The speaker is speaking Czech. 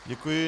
Děkuji.